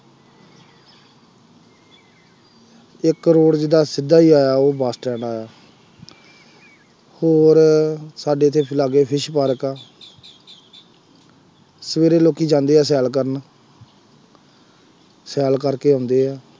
ਇੱਕ ਰੋਡ ਜਿਹਦਾ ਸਿੱਧਾ ਹੀ ਆਇਆ, ਉਹ ਬੱਸ ਸਟੈਂਡ ਆਇਆ, ਹੋਰ ਸਾਡੇ ਇੱਥੇ ਲਾਗੇ ਇੱਥੇ ਪਾਰਕ ਹੈ ਸਵੇਰੇ ਲੋਕੀ ਜਾਂਦੇ ਆ ਸੈਰ ਕਰਨ, ਸੈਰ ਕਰਕੇ ਆਉਂਦੇ ਆ,